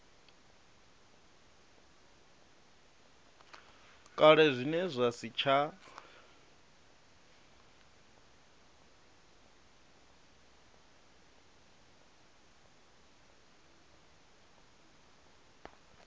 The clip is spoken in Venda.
kale zwine zwa si tsha